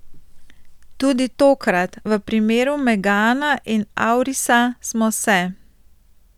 Tudi tokrat, v primeru megana in aurisa, smo se.